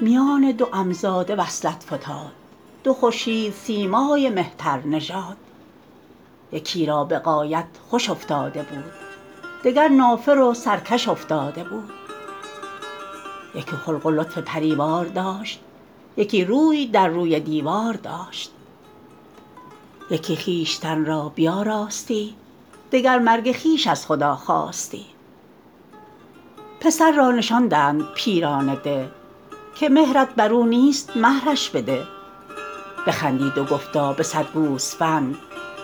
میان دو عم زاده وصلت فتاد دو خورشید سیمای مهتر نژاد یکی را به غایت خوش افتاده بود دگر نافر و سرکش افتاده بود یکی خلق و لطف پریوار داشت یکی روی در روی دیوار داشت یکی خویشتن را بیاراستی دگر مرگ خویش از خدا خواستی پسر را نشاندند پیران ده که مهرت بر او نیست مهرش بده بخندید و گفتا به صد گوسفند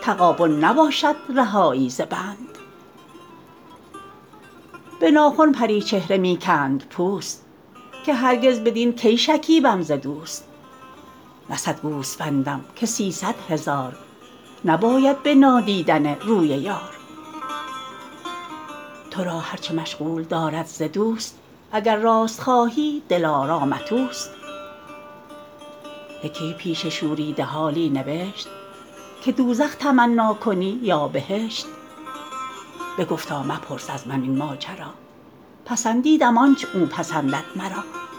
تغابن نباشد رهایی ز بند به ناخن پری چهره می کند پوست که هرگز بدین کی شکیبم ز دوست نه صد گوسفندم که سیصد هزار نباید به نادیدن روی یار تو را هر چه مشغول دارد ز دوست اگر راست خواهی دلارامت اوست یکی پیش شوریده حالی نبشت که دوزخ تمنا کنی یا بهشت بگفتا مپرس از من این ماجرا پسندیدم آنچ او پسندد مرا